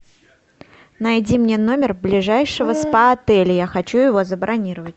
найди мне номер ближайшего спа отеля я хочу его забронировать